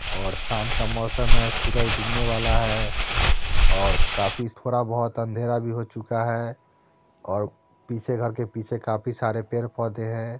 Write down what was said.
और शाम का मॉसम है सूरज डूबनें वाला है और काफी थोड़ा बहुत अंधेरा भी हो चुका है और पीछे घर के पीछे काफी सारे पेड़ पौधे हैं ।